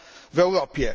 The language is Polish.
w Europie.